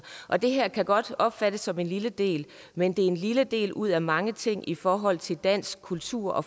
og det her kan godt opfattes som en lille del men det er en lille del ud af mange ting i forhold til dansk kultur og